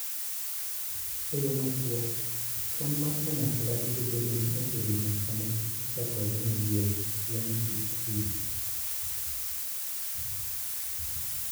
E yo machuok, kwan mar kanyakla biro bedo ni oserumo sama tuke chakore maliet chieng ' Tich Abich.